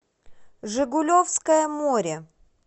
жигулевское море